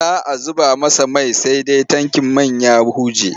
Za a zuba masa mai sai dai tankin man ya huje.